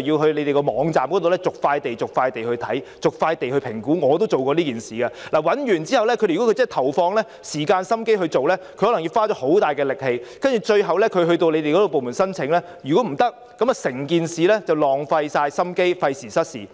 要在官方網站逐塊地瀏覽和評估——我也做過此事——如果他們要認真投放時間和精神來尋找的話，要花上很大力氣，如果最後向政府部門申請被拒，便會白費心機，費時失事。